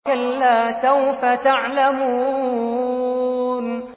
كَلَّا سَوْفَ تَعْلَمُونَ